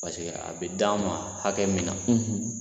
a bi d'an ma hakɛ min na